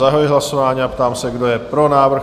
Zahajuji hlasování a ptám se, kdo je pro návrh?